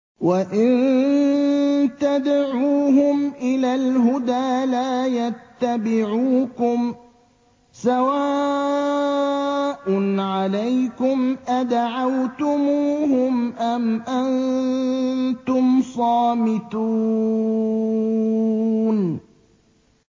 وَإِن تَدْعُوهُمْ إِلَى الْهُدَىٰ لَا يَتَّبِعُوكُمْ ۚ سَوَاءٌ عَلَيْكُمْ أَدَعَوْتُمُوهُمْ أَمْ أَنتُمْ صَامِتُونَ